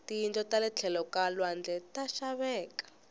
tiyindlu tale tlhelo ka lwandle ta xaveka